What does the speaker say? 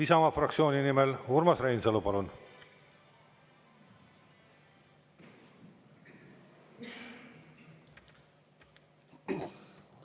Isamaa fraktsiooni nimel Urmas Reinsalu, palun!